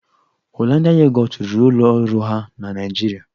Holandịa Yogọt rụrụ ụlọ ọrụ ha na Naịjirịa.